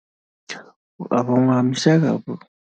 Mafhungo a musala